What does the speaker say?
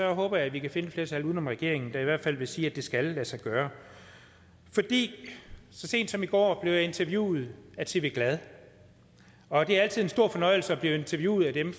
håber jeg at vi kan finde et flertal uden om regeringen der i hvert fald vil sige at det skal lade sig gøre så sent som i går blev jeg interviewet af tv glad og det er altid en stor fornøjelse at blive interviewet af dem